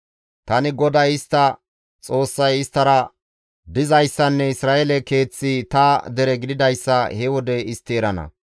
Tani GODAY istta Xoossay isttara dizayssanne Isra7eele keeththi ta dere gididayssa he wode istti erana.